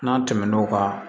N'a tɛmɛn'o kan